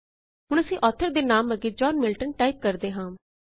ਹੁਣ ਅਸੀਂ ਆਥਰ ਦੇ ਨਾਮ ਅੱਗੇ ਜੌਨ ਮਿਲਟਨ ਟਾਇਪ ਕਰਦੇ ਹਾਂ